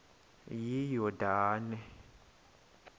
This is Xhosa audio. iyordane